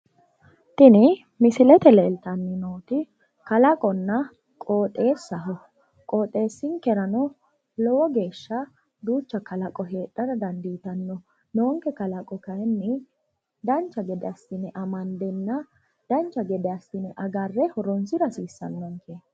tini misilete leeltannoti kalaqonna qooxeessaho qoxeessinkerano lowo geeshsha duucha kalaqo heedhara dandiitanno noonke kalaqo kayiinni dancha gede assine amandenna agarre horonsira hasiissannonke.